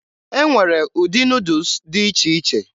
E nwere ụdị Nuudus dị iche iche.